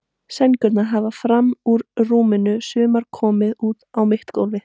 Sængurnar lafa fram úr rúmunum, sumar komnar út á mitt gólf.